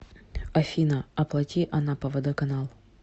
афина оплати анапа водоканал